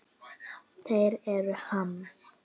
Þeir eru Ham.